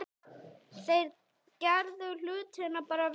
Þeir gerðu hlutina bara vel.